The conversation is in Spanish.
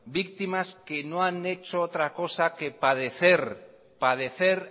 víctimas que no han hecho otra cosa que padecer